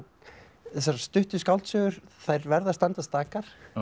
þessar stuttu skáldsögur þær verða að standa stakar